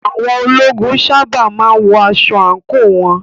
Àwọn ológun sábà má ń wọ aṣọ àǹkóò wọn.